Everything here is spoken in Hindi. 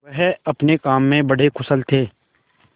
वह अपने काम में बड़े कुशल थे